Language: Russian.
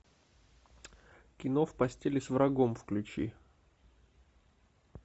кино в постели с врагом включи